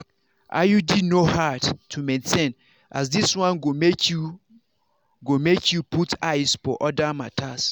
iud no hard to maintain as this one go make you go make you put eyes for other matters.